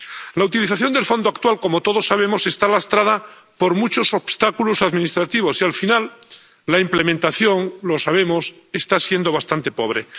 La utilización del Fondo actual, como todos sabemos, está lastrada por muchos obstáculos administrativos y, al final, la implementación —lo sabemos— está siendo bastante pobre.